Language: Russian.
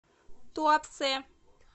туапсе